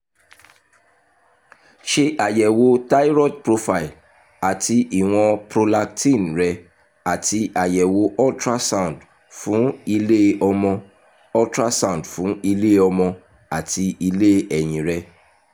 ṣe àyẹ̀wò thyroid profile àti ìwọ̀n prolactin rẹ àti àyẹ̀wò ultrasound fún ilé-ọmọ ultrasound fún ilé-ọmọ àti ilé-ẹyin rẹ